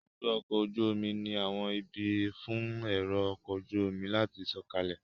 Ibùdó ọkọ̀ ojú omi ni àwọn ibi fún èrò ọkọ̀ ojú omi láti sọ̀kalẹ̀